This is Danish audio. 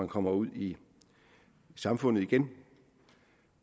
kommer ud i samfundet igen